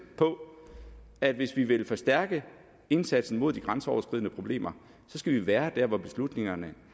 på at hvis vi vil forstærke indsatsen mod de grænseoverskridende problemer så skal vi være der hvor beslutningerne